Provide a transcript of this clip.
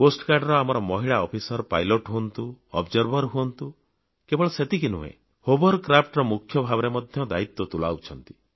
ତଟରକ୍ଷୀ ବାହିନୀର ଆମର ମହିଳା ଅଫିସର ପାଇଲଟ ହୁଅନ୍ତୁ ଅବଜର୍ଭର ହୁଅନ୍ତୁ କେବଳ ସେତିକି ନୁହେଁ ହୋଭରକ୍ରାଫ୍ଟ ର ମୁଖ୍ୟ ଭାବରେ ମଧ୍ୟ ଦାୟୀତ୍ୱ ତୁଲାଉଛନ୍ତି